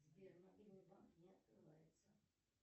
сбер мобильный банк не открывается